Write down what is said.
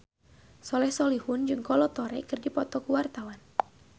Soleh Solihun jeung Kolo Taure keur dipoto ku wartawan